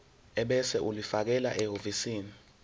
ebese ulifakela ehhovisi